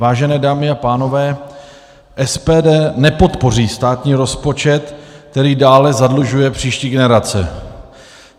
Vážené dámy a pánové, SPD nepodpoří státní rozpočet, který dále zadlužuje příští generace.